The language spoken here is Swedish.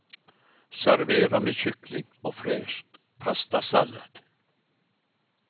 Servera med kyckling och fräsch pastasallad.